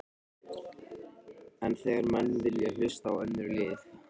En þegar menn vilja hlusta á önnur lið?